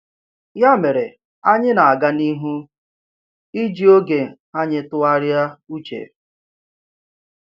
Ya mere, anyị na-aga n’ihu iji oge anyị tụgharịa uche.